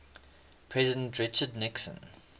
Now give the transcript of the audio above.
president richard nixon